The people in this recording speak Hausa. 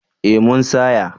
Ee mun saya.